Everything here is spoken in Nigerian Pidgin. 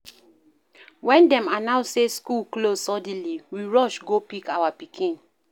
Wen dem announce sey skool close suddenly, we rush go pick our pikin.